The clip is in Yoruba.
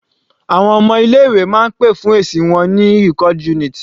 Àwọn ọmọ ilé ìwé máa ń pè fún èsì wọn ní record unit.